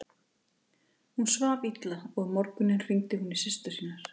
Hún svaf illa og um morguninn hringdi hún í systur sínar.